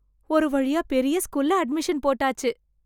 ஒரு வழியா பெரிய ஸ்கூல்ல அட்மிஷன் போட்டாச்சு.